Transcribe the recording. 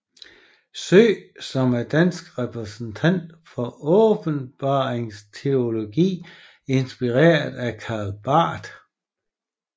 Søe som en dansk repræsentant for åbenbaringsteologi inspireret af Karl Barth